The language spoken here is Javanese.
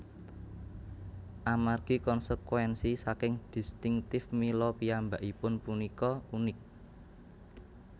Amargi konsekwénsi saking distincttif mila piyambakipun punika unik